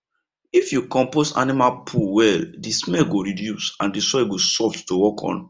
if you compost animal poo well the smell go reduce and the soil go soft to work on